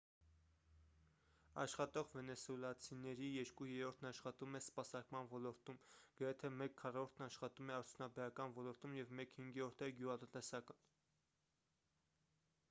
աշխատող վենեսուելացիների երկու երրորդն աշխատում է սպասարկման ոլորտում գրեթե մեկ քառորդն աշխատում է արդյունաբերական ոլորտում և մեկ հինգերորդը գյուղատնտեսական